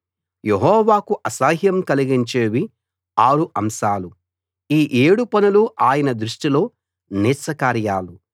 యెహోవాకు అసహ్యం కలిగించేవి ఆరు అంశాలు ఈ ఏడు పనులు ఆయన దృష్టిలో నీచ కార్యాలు